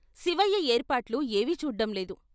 శివయ్య ఏర్పాట్లు ఏవీ చూడ్డంలేదు.